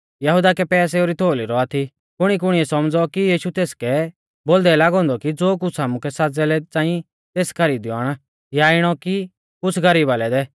यहुदा कै पैसेऊ री थोउली रौआ थी कुणीकुणीऐ सौमझ़ौ कि यीशु तेसकै बोलदै लागौ औन्दौ कि ज़ो कुछ़ आमुकै साज़ै लै च़ांई तेस खरीदीऔ आण या इणौ कि कुछ़ गरीबा लै दै